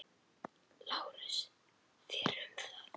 LÁRUS: Þér um það.